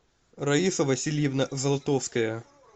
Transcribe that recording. раиса васильевна золотовская